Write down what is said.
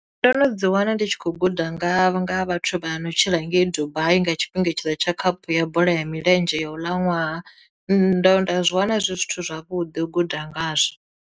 Ndo no dzi wana ndi tshi khou guda nga nga vhathu vha no tshila ngei dubai nga tshifhinga tshine tsha khaphu ya bola ya milenzhe ya u ḽa ṅwaha ndo nda zwi wana zwi zwithu zwavhuḓi u guda ngazwo.